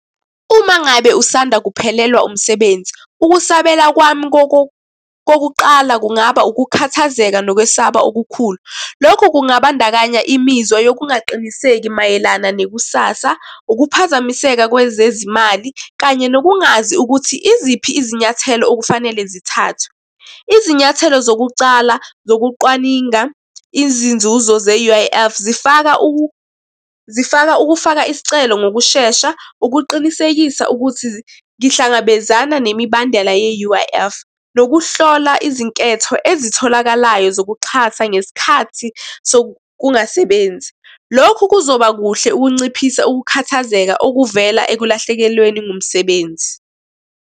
Uma ngabe usanda kuphelelwa umsebenzi, ukusabela kwami kokuqala kungaba ukukhathazeka nokwesaba okukhulu. Lokhu kungabandakanya imizwa yokungaqiniseki mayelana nekusasa, ukuphazamiseka kwezezimali, kanye nokungazi ukuthi iziphi izinyathelo okufanele zithathwe. Izinyathelo zokucala zokucwaninga izinzuzo ze-U_I_F zifaka zifaka ukufaka isicelo ngokushesha, ukuqinisekisa ukuthi ngihlangabezana nemibandela ye-U_I_F, nokuhlola izinketho ezitholakalayo zokuxhasa ngesikhathi sokungasebenzi. Lokhu kuzoba kuhle ukunciphisa ukukhathazeka okuvela ekulahlekelweni ngumsebenzi.